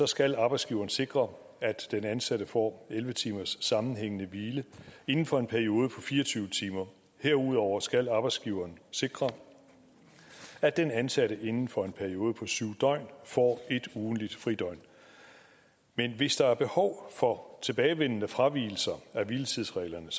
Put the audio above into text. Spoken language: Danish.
skal arbejdsgiveren sikre at den ansatte får elleve timers sammenhængende hvile inden for en periode på fire og tyve timer herudover skal arbejdsgiveren sikre at den ansatte inden for en periode på syv døgn får et ugentligt fridøgn men hvis der er behov for tilbagevendende fravigelser af hviletidsreglerne